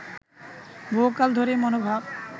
বহুকাল ধরেই মনোভাব